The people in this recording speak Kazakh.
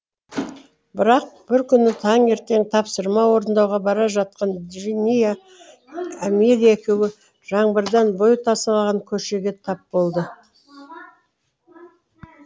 бірақ бір күні таңертең тапсырма орындауға бара жатқан джиния амелия екеуі жаңбырдан бой тасалаған көшеге тап болды